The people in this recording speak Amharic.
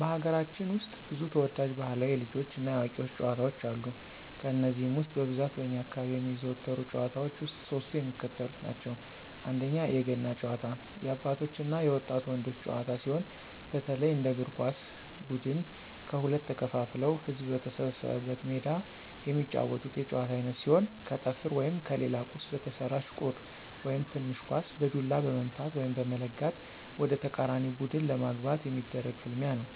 በሀገራችን ውስጥ ብዙ ተወዳጅ ባህላዊ የልጆች እና የአዋቂዎች ጨዋታዎች አሉ። ከነዚህም ውስጥ በብዛት በእኛ አካባቢ የሚዘወተሩ ጭዋታዎች ውስጥ ሶስቱ የሚከተሉትን ናቸው፦ 1=የገና ጨዋታ- የአባቶች እና የወጣት ወንዶች ጨዋታ ሲሆን፣ በተለይ እንደ እግር ኳስ ብድን ከሁለት ተከፋፍለው ህዝብ በተሰበሰበበት ሜዳ የሚጫወቱት የጨዋታ አይነት ሲሆን ከጠፍር ወይም ከሌላ ቁስ በተሰራች ቁር (ትንሽ ኳስ) በዱላ በመምታት(በመለጋት) ወደተቃራኒ ቡድን ለማግባት የሚደረግ ፍልሚያ ነው።